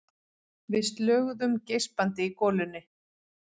Við slöguðum geispandi í golunni.